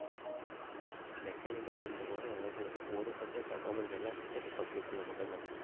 mechanic இல்லைன்றதுனால ஏதாவது ஒரு ஒரு subject தான் நம்மளுக்கு எல்லா subject உம் computer ல மட்டும்தான்